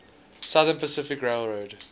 southern pacific railroad